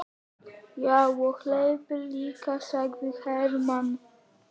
Já, og hleyp líka, sagði Hermann.